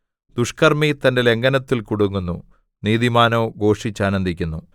ദുഷ്ക്കർമ്മി തന്റെ ലംഘനത്തിൽ കുടുങ്ങുന്നു നീതിമാനോ ഘോഷിച്ചാനന്ദിക്കുന്നു